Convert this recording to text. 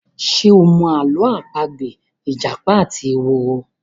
Ṣe o mọ Àló̩ àpagbè ìjàpá àti ehoro?